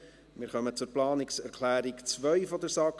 Wir kommen zur Planungserklärung 2 der SAK.